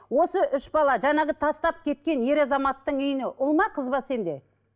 осы үш бала жаңағы тастап кеткен ер азаматтың үйіне ұл ма қыз ба сенде